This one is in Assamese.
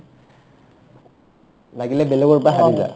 লাগিলে বেলেগৰ পাই হাৰি যায়